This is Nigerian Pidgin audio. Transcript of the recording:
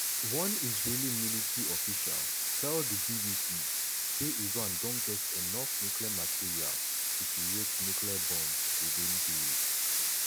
one israeli military official tell di bbc say iran don get enough nuclear material to create nuclear bombs "within days".